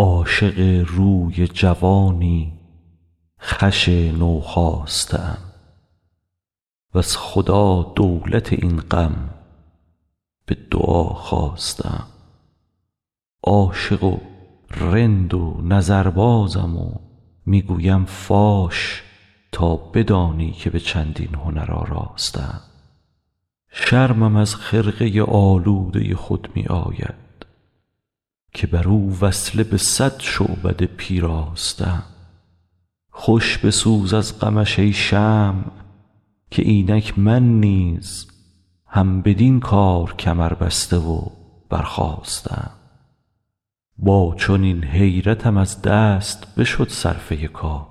عاشق روی جوانی خوش نوخاسته ام وز خدا دولت این غم به دعا خواسته ام عاشق و رند و نظربازم و می گویم فاش تا بدانی که به چندین هنر آراسته ام شرمم از خرقه آلوده خود می آید که بر او وصله به صد شعبده پیراسته ام خوش بسوز از غمش ای شمع که اینک من نیز هم بدین کار کمربسته و برخاسته ام با چنین حیرتم از دست بشد صرفه کار